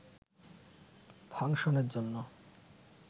ফাংশনের জন্য